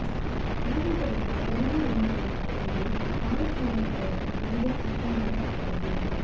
ಆದುದರಿಂದ ಧರ್ಮ ಎಂದರೇನು ಎಂದು ಆಯಾ ಸಂದರ್ಭವನ್ನು ಹಿಡಿದೇ ಅರ್ಥ ಮಾಡತಕ್ಕದ್ದು